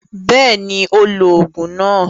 Bẹ́ẹ̀ni, ó lo òògùn náà.